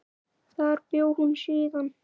Þar bjó hún síðan.